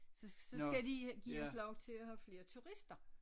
Så så skal de give os lov til at have flere turister